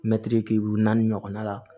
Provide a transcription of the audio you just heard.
Mɛtiri ki naani ɲɔgɔnna la